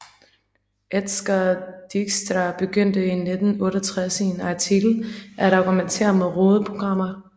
Edsger Dijkstra begyndte i 1968 i en artikel at argumentere mod rodede programmer